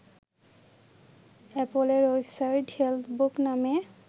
অ্যাপলের website Healthbook নামে